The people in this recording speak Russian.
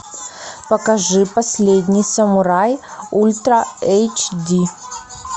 покажи последний самурай ультра эйч ди